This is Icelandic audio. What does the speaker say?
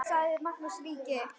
Sagði þá Magnús ríki: